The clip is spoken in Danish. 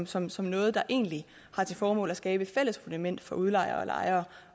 som som noget der egentlig har til formål at skabe et fælles fundament for udlejer og lejer